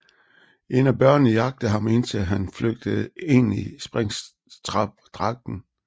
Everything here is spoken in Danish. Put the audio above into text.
En af børnene jagter ham indtil han flygter ind i Springtrap dragten